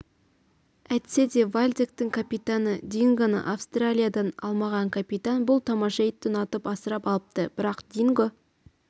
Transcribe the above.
әйтсе де вальдектің капитаны дингоны австралиядан алмаған капитан бұл тамаша итті ұнатып асырап алыпты бірақ динго